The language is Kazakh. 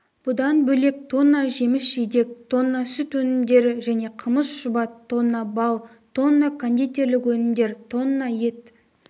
бұдан бөлек тонна жеміс-жидек тонна сүт өнімдері және қымыз-шұбат тонна бал тонна кондитерлік өнімдер тонна ет